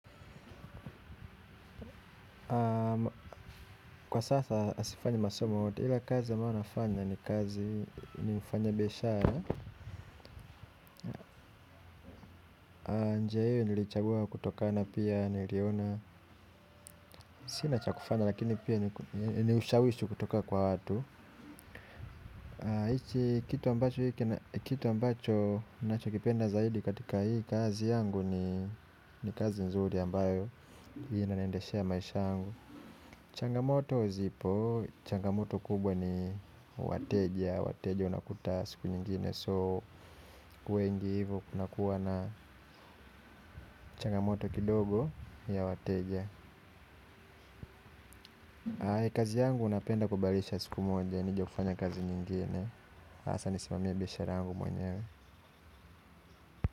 Kwa sasa sifanyi masomo yoyote ila kazi nayonafanya ni kazi ni mfanya biashara njia hiyo nilichagua kutokana pia niliona sina cha kufanya lakini pia niushawishi kutoka kwa watu. Hichi kitu ambacho hiki na kitu ambacho nacho kipenda zaidi katika hii kazi yangu ni kazi nzuri ambayo inanaendeshea maisha yangu. Changamoto uzipo, changamoto kubwa ni wateja, wateja unakuta siku nyingine so wengi hivo kuna kuwa na changamoto kidogo ya wateja. Kazi yangu napenda kubadilisha siku moja, nijekufanya kazi nyingine, asa nisimamie biashara yangu mwenyewe.